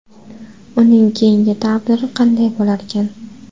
Uning keyingi taqdiri qanday bo‘larkan?